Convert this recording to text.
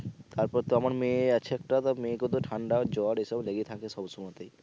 তারপর তো আমার মেয়ে আছে তা মেয়েকেও তো ঠান্ডা জ্বর এসব লেগেই থাকে সবস ময়তেই।